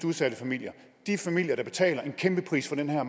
udsatte familier de familier der betaler en kæmpe pris for den her